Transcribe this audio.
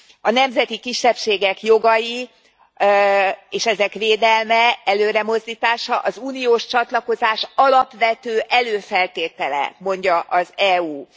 A nemzeti kisebbségek jogai és ezek védelme, előremozdítása az uniós csatlakozás alapvető előfeltétele, mondja az EU.